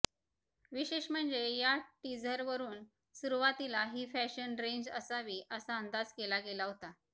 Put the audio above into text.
विशेष म्हणजे या टीझरवरून सुरवातीला ही फॅशन रेंज असावी असा अंदाज केला गेला होता